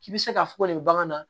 K'i bɛ se k'a fɔ ko nin bɛ bagan na